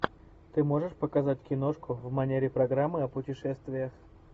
ты можешь показать киношку в манере программы о путешествиях